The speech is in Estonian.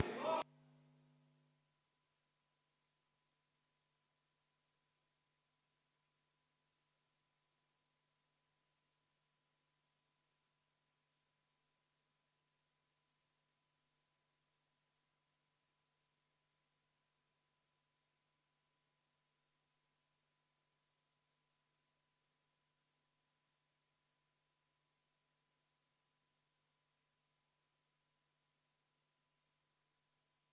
V a h e a e g